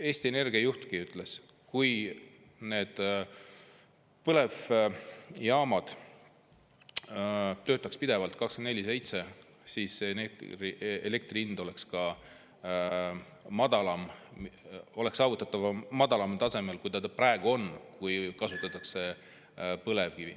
Eesti Energia juhtki ütles, et kui põlevjaamad töötaks pidevalt, 24/7, siis oleks elektri hind madalam, praegusest madalam tase oleks saavutatav, kui kasutataks põlevkivi.